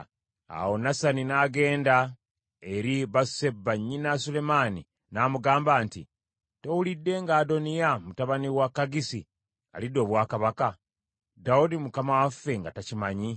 Awo Nasani n’agenda eri Basuseba nnyina Sulemaani n’amugamba nti, “Towulidde nga Adoniya mutabani wa Kaggisi alidde obwakabaka, Dawudi mukama waffe nga takimanyi?